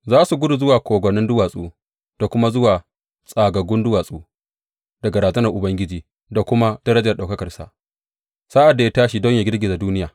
Za su gudu zuwa kogwannin duwatsu da kuma zuwa tsagaggun duwatsu daga razanar Ubangiji da kuma darajar ɗaukakarsa, sa’ad da ya tashi don yă girgiza duniya.